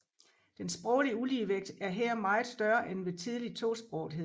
Den sproglige uligevægt er her meget større end ved tidlig tosprogethed